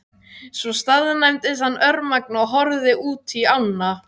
Svo staðnæmdist hann örmagna og horfði útí ána.